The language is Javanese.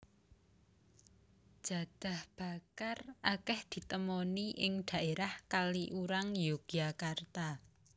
Jadah bakar akèh ditemoni ing dhaérah Kaliurang Yogyakarta